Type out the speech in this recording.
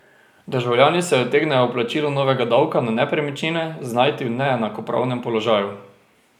Državljani se utegnejo ob plačilu novega davka na nepremičnine znajti v neenakopravnem položaju.